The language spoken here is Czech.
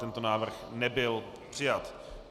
Tento návrh nebyl přijat.